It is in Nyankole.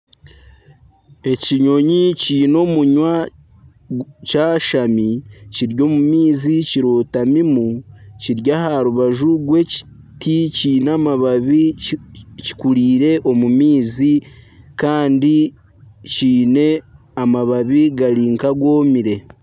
Ekinyonyi kiine omunwa kyashami kiri omu maizi kirotamimu kiri aha rubaju rw'ekiti kyine amabaabi kikurire omu maizi kandi kyine amababi gari nkagomire.